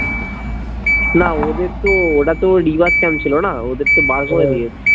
না ওদের তো ওরা তো rework camp ছিলো না ওদের তো